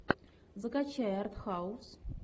закачай артхаус